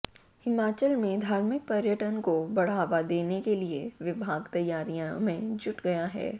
हिमाचल में धार्मिक पर्यटन को बढ़ावा देने के लिए विभाग तैयारियों में जुट गया है